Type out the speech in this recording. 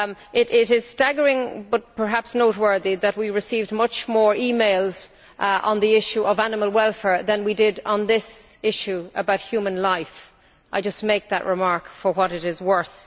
It is staggering but perhaps noteworthy that we received many more e mails on the issue of animal welfare than we did on this issue about human life. I just make that remark for what it is worth.